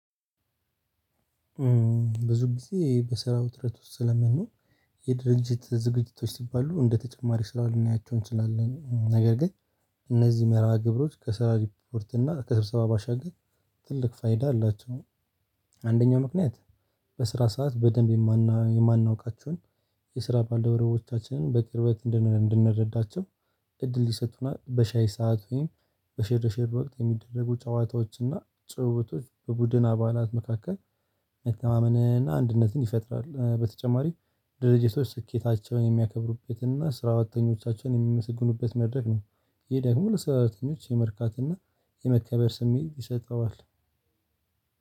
ብዙ ጊዜ በስራ ውጥረት ውስጥ ስለምንሆን የድርጅት ዝግጅቶች ሲባሉ እንደተጨማሪ ስራ ልናያቸው እንችላለን። ነገር ግን እነዚህ መርሃ ግብሮች ከስራ ሪፖርት እና ከስብሰባ ባሻገር ትልቅ ፋይዳ አላቸው። አንደኛው ምክንያት በስራ ሰዓት በደንብ የማናውቃቸውን የስራ ባልደረቦቻችንን በቅርበት እንድንረዳቸው እድል ይሰጡና። በሻይ ሰዓት ወይም በሼር ሼር ወቅት የሚደረጉ ጨዋታዎችና ጭውውቶች በቡድን አባላት መካከል መተማመንና አንድነትን ይፈጥራል። በተጨማሪ ድርጅቶች ስኬታቸውን የሚያከብሩበትን እና ስራተኞቻቸውን የሚመሰግኑበት መድረክ ነው። ይሄ ደግሞ ለስራተኞች የመርካት እና የመከበር ስሜት ይሰጠዋል።